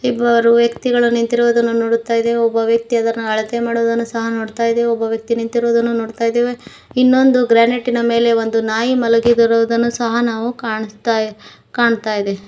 ಹಲವಾರು ವ್ಯಕ್ತಿಗಳು ನಿಂತಿರುವುದನ್ನು ನೋಡುತ್ತಾ ಇದೆವೆ ಒಬ್ಬ ವ್ಯಕ್ತಿ ಅದನ್ನು ಅಳತೆ ಮಾಡುವುದನ್ನು ಸಹ ನೋಡ್ತಾ ಇದೆ ಒಬ್ಬ ವ್ಯಕ್ತಿ ನಿಂತಿರುವುದನ್ನು ನೋಡ್ತಾ ಇದ್ದೇವೆ ಇನ್ನೊಂದು ಗ್ರಾನೆಟಿ ನ ಮೇಲೆ ಒಂದು ನಾಯಿ ಮಲಗಿರುವುನು ಸಹ ನಾವು ಕಾನಸ್ತ ಕಾನ್ತಾ ಇದೆ.